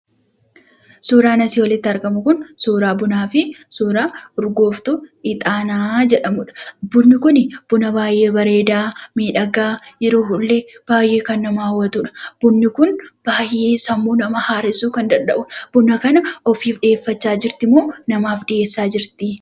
Suuraan asii olitti argamu kun suuraa bunaa fi suuraa urgooftu ixaanaa jedhamudha. bunni kunii, buna baay'ee bareeda, miidhagaa yeroo bu'ullee baay'ee kan nama hawwatudha. bunni kun baay'ee sammuu namaa haareessuu kan danda'udha. buna kana ofiif dhi'eeffachaa jirtimoo, namaaf dhi'eessaa jirti?